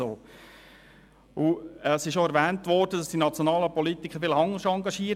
Es ist auch erwähnt worden, die nationalen Politiker seien vielleicht anderweitig engagiert.